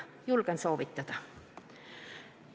Julgen soovitada.